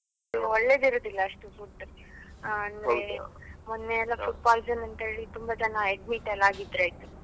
ಇಲ್ಲಿ ಒಳ್ಳೆದಿರುದಿಲ್ಲ ಅಷ್ಟು food ಆ ಅಂದ್ರೆ ಮೊನ್ನೆಯೆಲ್ಲ food poison ಅಂತ ಹೇಳಿ ತುಂಬಾ ಜನ admit ಎಲ್ಲ ಆಗಿದ್ರಲ್ಲ್ ಆಯ್ತು.